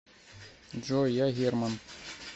джой я герман